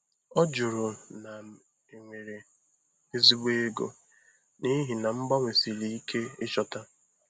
Ọ jụrụ ma m nwere ezigbo ego, n'ihi na mgbanwe siri ike ịchọta.